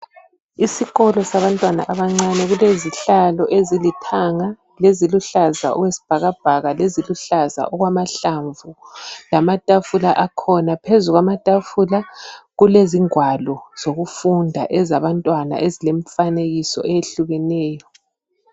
Isikolo sabantwana abancane kulezihlalo ezilithanga leziluhlaza okwesibhakabhaka, leziluhlaza okwamahlamvu lamatafula akhona. Phezulu kwamatafula kukezingwalo zokufunda ezabantwana ezilemfanekiso eyehlukeneyo.